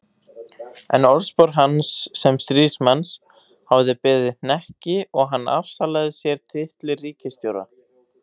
En orðspor hans sem stríðsmanns hafði beðið hnekki og hann afsalaði sér titli ríkisstjóra.